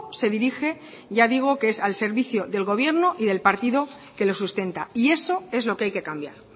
se dirige ya digo que es al servicio del gobierno y del partido que lo sustenta y eso es lo que hay que cambiar